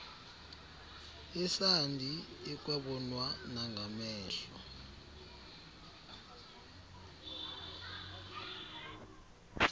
yesandi ekwabonwa nangamehlol